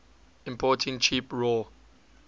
importing cheap raw